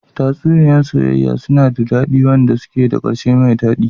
Tatsuniya soyayya suna da dadi, wanda suke da karshe mai dadi.